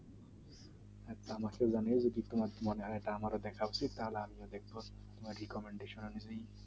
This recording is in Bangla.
আমার দেখা উচিত তাহলে আমিও দেখবো